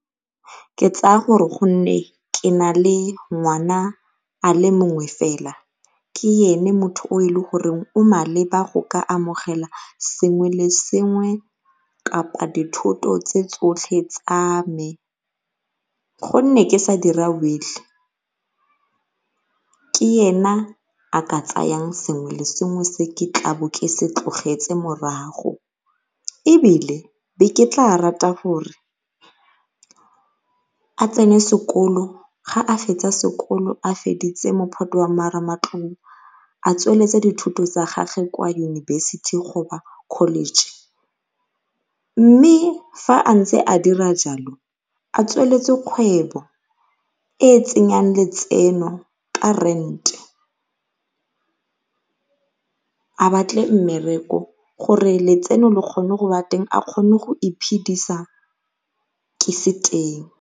Ke tsaya gore gonne ke nale ngwana a le mongwe fela ke ene motho yo e leng gore o maleba go ka amogela sengwe le sengwe kapa dithoto tse tsotlhe tsame, gonne ke sa dira will-e ke ena a ka tsayang sengwe le sengwe se ke tlabe ke se tlogetse morago. Ebile be ke tla rata gore a tsene sekolo ga a fetsa sekolo a feditse mophato wa marematlou, a tsweletse dithuto tsa gagwe kwa yunibesithi college, mme fa a ntse a dira jalo a tsweletse kgwebo e tsenyang letseno ka rent-e. A batle mmereko gore letseno le kgone go teng a kgone go iphidisa ke se teng.